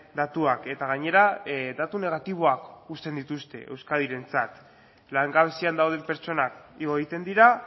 datuak eta gainera datu negatiboak uzten dituzten euskadirentzat langabezian dauden pertsonak igo egiten dira